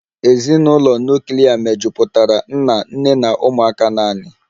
Ezinụlọ nuklia mejupụtara nna, nne na ụmụaka naanị